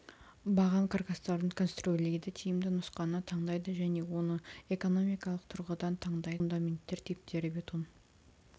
баған каркастарын конструирлейді тиімді нұсқаны таңдайды және оны экономикалық тұрғыдан таңдайды тақырып фундаменттер типтері бетон